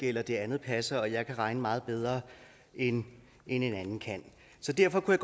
eller at det andet passer og at jeg kan regne meget bedre end en anden kan så derfor kunne